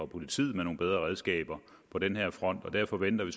politiet med nogle bedre redskaber på den her front derfor venter vi